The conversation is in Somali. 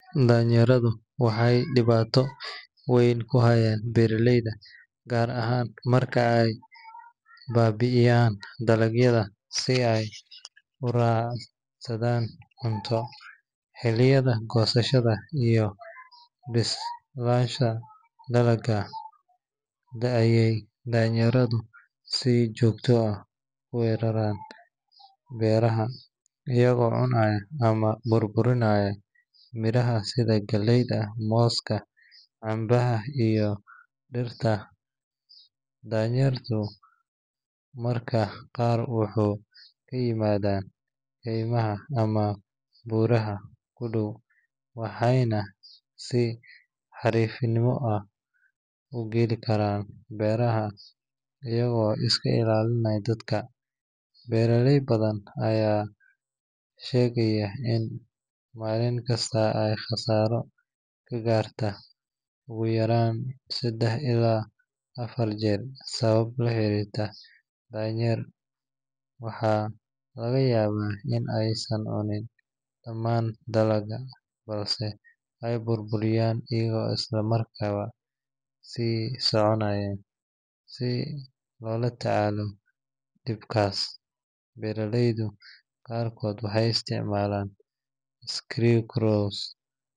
Daanyeeradu waxay dhibaato weyn ku hayaan beeraleyda, gaar ahaan marka ay baabi’iyaan dalagyada si ay u raadsadaan cunto. Xilliyada goosashada iyo bislaanshaha dalagga ayay daanyeeradu si joogto ah u weeraraan beeraha, iyagoo cunaya ama burburinaya miraha sida galleyda, mooska, cambaha iyo digirta. Daanyeeradu mararka qaar waxay ka yimaadaan kaymaha ama buuraha u dhow, waxayna si xariifnimo leh u geli karaan beeraha iyagoo iska ilaalinaya dadka. Beeraley badan ayaa sheegaya in maalin kasta ay khasaaro ka gaarto ugu yaraan saddex ilaa afar jeer sabab la xiriirta daanyeer. Waxaa laga yaabaa in aysan cunin dhammaan dalagga balse ay burburiyaan iyagoo isla markiiba sii soconaya. Si loola tacaalo dhibkaas, beeraleyda qaarkood waxay isticmaalaan scarecrows,